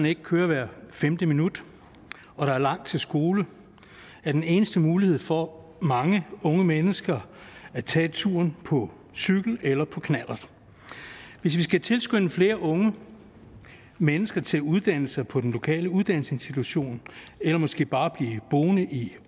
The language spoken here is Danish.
ikke kører hvert femte minut og der er langt til skole er den eneste mulighed for mange unge mennesker at tage turen på cykel eller på knallert hvis vi skal tilskynde flere unge mennesker til at uddanne sig på den lokale uddannelsesinstitution eller måske bare blive boende i